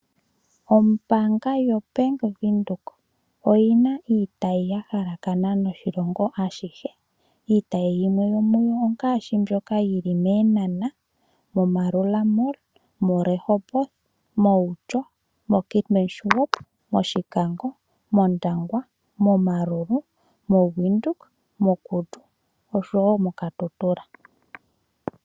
Ombanga yoBank Windhoek oyina iitayi yahalakana noshilongo ashihe iitayi yimwe yomuyo ongaashi mbyoka yili mEenhana, Moerura Mall, Rehoboth, Outjo, Keetmanshoop, Oshikango, Ondangwa, Omaruru, Windhoek, Kudu nosho wo moKatutura.